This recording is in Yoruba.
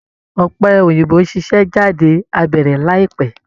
Ọ̀pẹ̀ òyìnbó ṣíṣe jáde á bẹ̀rẹ̀ láìpẹ́